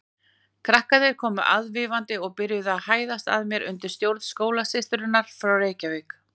Krakkarnir komu aðvífandi og byrjuðu að hæðast að mér undir stjórn skólasysturinnar frá Reykjavík.